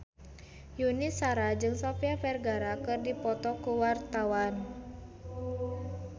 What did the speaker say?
Yuni Shara jeung Sofia Vergara keur dipoto ku wartawan